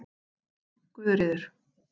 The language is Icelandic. Guðríður